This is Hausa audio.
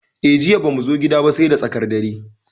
Eh, Jiya bamu zo gida ba sai da tsakar dare.